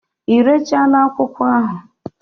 Irechala akwụkwọ ahụ?